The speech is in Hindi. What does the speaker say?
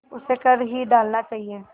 उसे कर ही डालना चाहिए